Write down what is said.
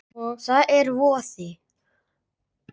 Það er voði